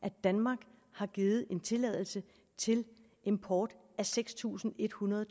at danmark har givet en tilladelse til import af seks tusind en hundrede